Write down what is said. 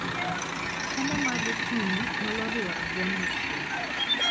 Chiemo ma gokinyi nyalo riwo rabuon mochiel